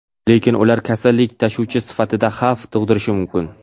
lekin ular kasallik tashuvchi sifatida xavf tug‘dirishi mumkin.